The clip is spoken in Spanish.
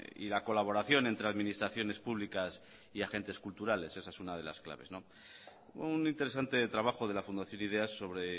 y la colaboración entre administraciones públicas y agentes culturales esa es una de las claves un interesante trabajo de la fundación ideas sobre